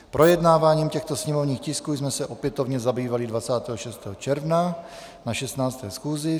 Projednáváním těchto sněmovních tisků jsme se opětovně zabývali 26. června na 16. schůzi.